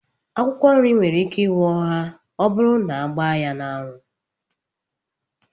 Akwụkwọ nri nwere ike inwoha ọburu na agba ya na anwu